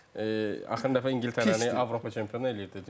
axırıncı dəfə İngiltərəni Avropa çempionu eləyib.